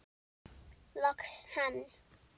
Loks hann!